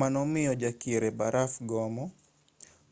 mano miyo jakier e baraf gomo